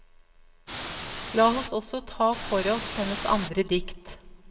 La oss også ta for oss hennes andre dikt.